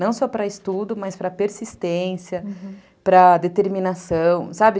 Não só para estudo, mas para persistência, aham, para determinação, sabe?